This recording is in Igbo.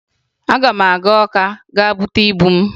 Ị ga-aga Ọka gaa bute ibu m!